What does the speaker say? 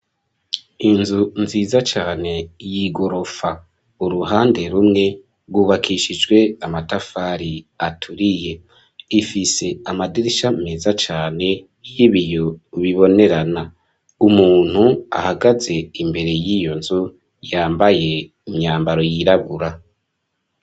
Inzu nziza cane y'igorofa, uruhande rumwe rwubakishijwe amatafari aturiye, ifise amadirisha meza cane y'ibiyo bibonerana, umuntu ahagaze imbere yiyo nzu yambaye imyambaro yirabura.